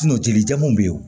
jelijɛw bɛ yen o